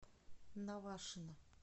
навашино